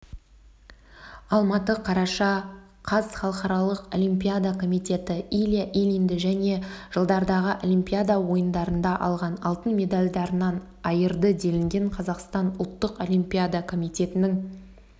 алматы қараша қаз халықаралық олимпиада комитеті илья ильинді және жылдардағы олимпиада ойындарында алған алтын медальдарынан айырды делінген қазақстан ұлттық олимпиада комитетінің